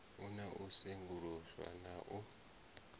na u sengulusa na u